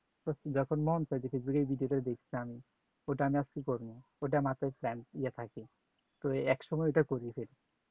যখন মন চাই video তা দেখিতাম ওটা আমি আর কি কমু ওটা মাথায় scan ইয়ে থাকে তো একসময় ওটা করি সে